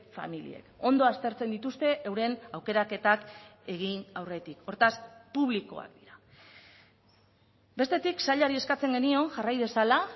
familiek ondo aztertzen dituzte euren aukeraketak egin aurretik hortaz publikoak dira bestetik sailari eskatzen genion jarrai dezala